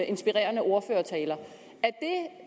inspirerende ordførertaler